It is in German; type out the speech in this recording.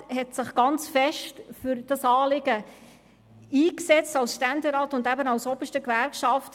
Er hat sich aus sozialpolitischen Gründen stark für dieses Anliegen eingesetzt, einerseits als Ständerat und andererseits als oberster Gewerkschafter.